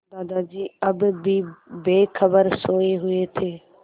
दादाजी अब भी बेखबर सोये हुए थे